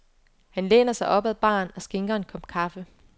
Han læner sig op ad baren og skænker en kop kaffe.